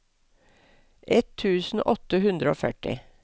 ett tusen åtte hundre og førti